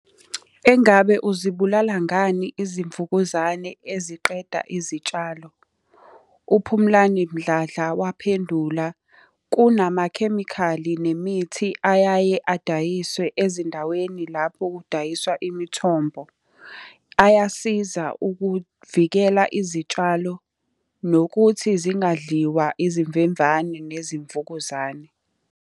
Engabe uzibulala ngani izimvukuzane eziqeda izitshalo? UPhumlani Mdladla waphendula, kunamakhemikhali nemithi ayaye adayiswe ezindaweni lapho kudayiswa imithombo. Ayasiza ukuvikela izitshalo, nokuthi zingadliwa izimvemvane nezimvukuzane.